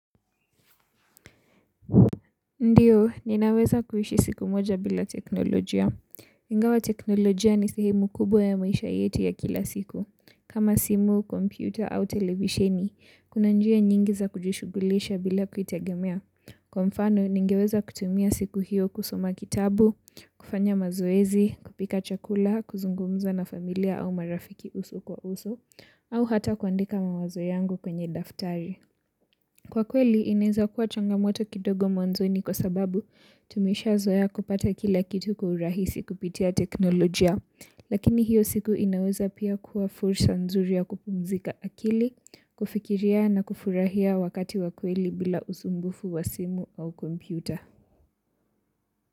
Ndiyo, ninaweza kuishi siku moja bila teknolojia. Ingawa teknolojia ni sehemu kubwa ya maisha yetu ya kila siku. Kama simu, kompyuta au televisheni, kuna njia nyingi za kujishughulisha bila kuitegemea. Kwa mfano, ningeweza kutumia siku hiyo kusoma kitabu, kufanya mazoezi, kupika chakula, kuzungumza na familia au marafiki uso kwa uso, au hata kuandika mawazo yangu kwenye daftari. Kwa kweli inaeza kuwa changamoto kidogo mwanzoni kwa sababu tumeshazoea kupata kila kitu kwa urahisi kupitia teknolojia lakini hiyo siku inaweza pia kuwa fursa nzuri ya kupumzika akili, kufikiria na kufurahia wakati wa kweli bila usumbufu wa simu au kompyuta.